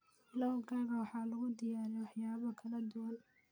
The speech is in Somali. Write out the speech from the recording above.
Pilau-gaaga waxaa lagu diyaariyaa waxyaabo kala duwan